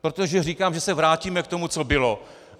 Protože říkám, že se vrátíme k tomu, co bylo.